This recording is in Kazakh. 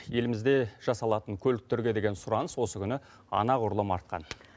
елімізде жасалатын көліктерге деген сұраныс осы күні анағұрлым артқан